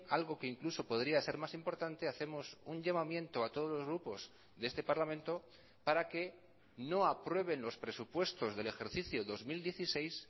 algo que incluso podría ser más importante hacemos un llamamiento a todos los grupos de este parlamento para que no aprueben los presupuestos del ejercicio dos mil dieciséis